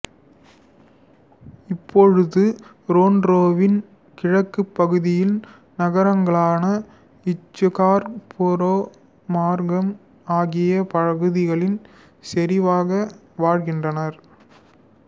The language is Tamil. இப்பொழுது ரொறன்ரோவின் கிழக்குப் பகுதி நகரங்களான இசுகார்புரோ மார்க்கம் ஆகிய பகுதிகளில் செறிவாக வாழ்கிறார்கள்